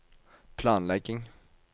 planlegging